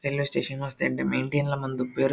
Railway station ಮಸ್ತ್ ಎಡ್ಡೆ maintain ಲ ಮಲ್ದಿಪ್ಪುವೆರ್.